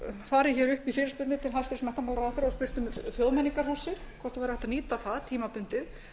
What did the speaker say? farið upp í fyrirspurnir til hæstvirts menntamálaráðherra og spurt um þjóðmenningarhúsið hvort hægt væri að nýta það tímabundið